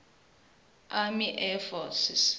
army air forces